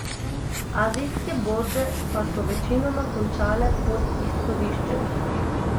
Azijske borze pa so večinoma končale pod izhodiščem.